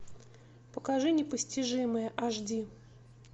покажи непостижимые аш ди